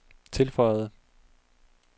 tilføjede